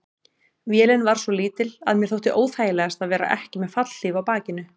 Vélin var svo lítil að mér þótti óþægilegast að vera ekki með fallhlíf á bakinu.